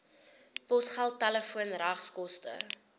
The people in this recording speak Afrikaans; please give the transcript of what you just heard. posgeld telefoon regskoste